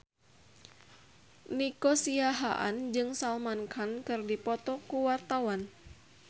Nico Siahaan jeung Salman Khan keur dipoto ku wartawan